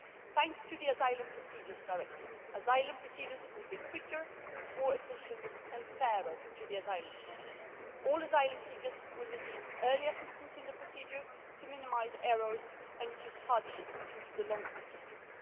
Thanks to the new Asylum Procedures Directive, asylum procedures will be quicker, more efficient and fairer to asylum seekers. All asylum seekers will receive early assistance in the procedure to minimise errors and reduce hardship due to long procedures.